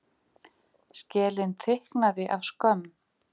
Skelin þykknaði af skömm.